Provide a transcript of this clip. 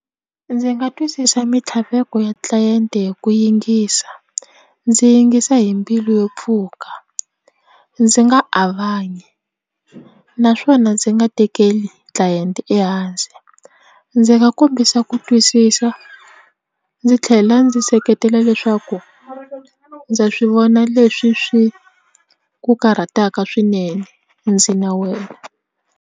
Ndzi nga twisisa mintlhaveko ya tlilayente hi ku yingisa ndzi yingisa hi mbilu yo pfuka ndzi nga a va nyi naswona ndzi nga tekeli tlilayente ehandle ndzi nga kombisa ku twisisa ndzi tlhela ndzi seketela leswaku ndza swivona leswi swi ku karhataka swinene ndzi na wena.